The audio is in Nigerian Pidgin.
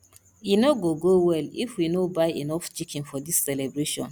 e no go go well if we no buy enough chicken for dis celebration